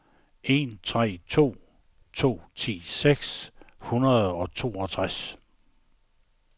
en tre to to ti seks hundrede og toogtres